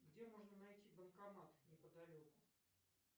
где можно найти банкомат неподалеку